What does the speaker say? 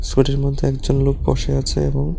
স্কুটির মধ্যে একজন লোক বসে আছে এবং--